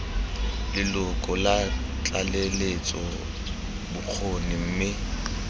leloko la tlaleletso bokgoni mme